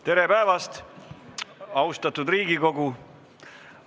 Tere päevast, austatud Riigikogu!